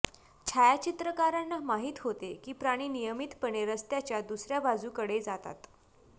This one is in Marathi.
छायाचित्रकारांना माहीत होते की प्राणी नियमितपणे रस्त्याच्या दुसऱ्या बाजूकडे जातात